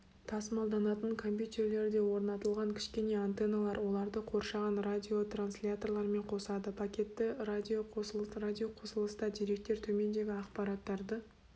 тасымалданатын компьютерлерде орнатылған кішкене антенналар оларды қоршаған радиотрансляторлармен қосады пакетті радиоқосылыс радиоқосылыста деректер төмендегі ақпараттарды